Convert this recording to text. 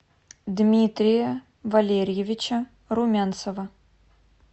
дмитрия валерьевича румянцева